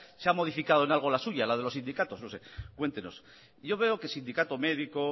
se ha modificado en algo la suya la de los sindicatos no sé cuéntenos yo veo que sindicato médico